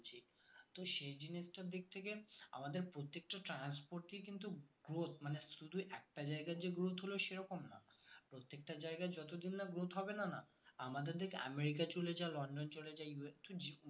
তো সেই জিনিসটার দিক থেকে আমাদের আমাদের প্রত্যেকটা transport ই কিন্তু growth মানে শুধু একটা জায়গার যে growth হলো সেরকম না প্রত্যেকটা জায়গার যতদিন না growth হবে না না আমাদের দেখ আমেরিকা চলে যা লন্ডন চলে যা US তো